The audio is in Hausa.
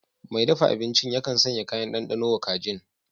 Mai dafa abincin yakan sanya kayan ɗanɗano wa kajin